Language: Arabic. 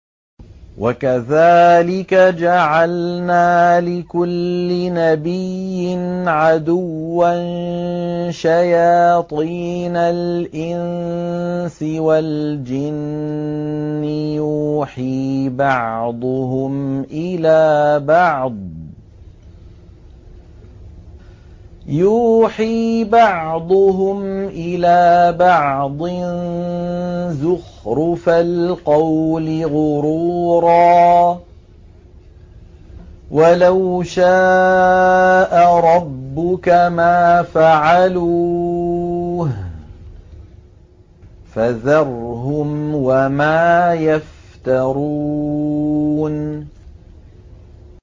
وَكَذَٰلِكَ جَعَلْنَا لِكُلِّ نَبِيٍّ عَدُوًّا شَيَاطِينَ الْإِنسِ وَالْجِنِّ يُوحِي بَعْضُهُمْ إِلَىٰ بَعْضٍ زُخْرُفَ الْقَوْلِ غُرُورًا ۚ وَلَوْ شَاءَ رَبُّكَ مَا فَعَلُوهُ ۖ فَذَرْهُمْ وَمَا يَفْتَرُونَ